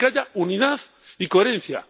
Es decir, que haya unidad y coherencia.